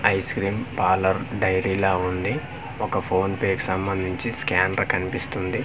Ice cream parlour dairy లా ఉంది ఒక ఫోన్ పే కి సంబంధించి స్కానర్ కన్పిస్తుంది.